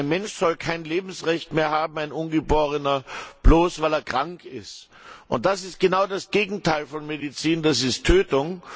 Ein ungeborener Mensch soll kein Lebensrecht mehr haben, bloß weil er krank ist. Das ist genau das Gegenteil von Medizin, es ist Tötung.